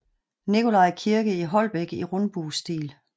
Nikolaj Kirke i Holbæk i rundbuestil